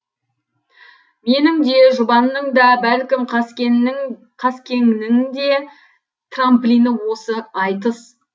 менің де жұбанның да бәлкім қаскеңнің де трамплині осы айтыс